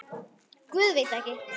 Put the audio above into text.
Guð, veit ekki.